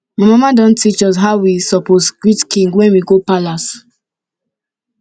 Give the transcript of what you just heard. my mama don teach us how we suppose greet king when we go palace